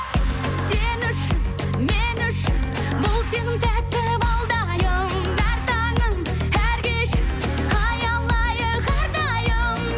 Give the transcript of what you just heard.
сен үшін мен үшін бұл сезім тәтті балдайым әр таңын әр кешін аялайық әрдайым